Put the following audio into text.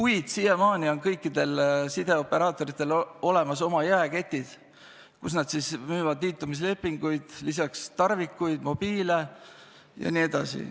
Aga siiamaani on kõikidel sideoperaatoritel oma jaeketid, kus nad müüvad liitumislepinguid ja lisaks ka tarvikuid, mobiile jne.